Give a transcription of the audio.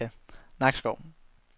Nakskov